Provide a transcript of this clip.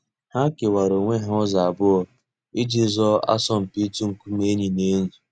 Hà kèwàrà ònwè hà ǔzọ̀ àbụọ̀ íjì zọọ àsọ̀mpị̀ ị̀tụ̀ ńkùmé̀ ènyì nà ènyì.